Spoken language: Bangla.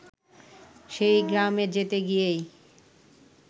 সেই গ্রামে যেতে গিয়েই